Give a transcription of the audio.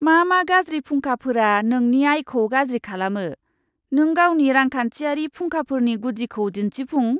मा मा गाज्रि फुंखाफोरा नोंनि आयखौ गाज्रि खालामो? नों गावनि रांखान्थियारि फुंखाफोरनि गुदिखौ दिन्थिफुं!